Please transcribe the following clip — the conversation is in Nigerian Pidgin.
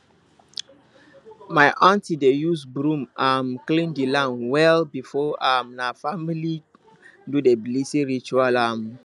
my aunty dey use broom um clean the land well before um the family do the blessing ritual um